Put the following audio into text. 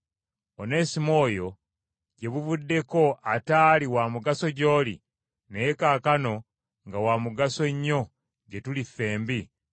Onesimo oyo, gye buvuddeko ataali wa mugaso gy’oli, naye kaakano nga wa mugaso nnyo gye tuli ffembi,